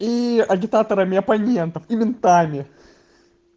и агитаторами оппонентов и ментами